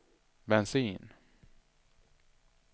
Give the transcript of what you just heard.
bensin